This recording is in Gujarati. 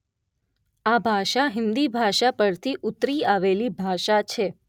આ ભાષા હિન્દી ભાષા પરથી ઉતરી આવેલી ભાષા છે